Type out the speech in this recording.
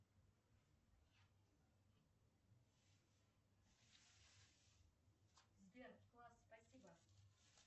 сбер класс спасибо